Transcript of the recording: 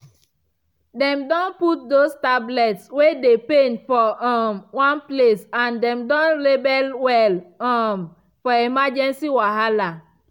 dem don put those tablets wey dey pain for um one place and them don label well um for emergency wahala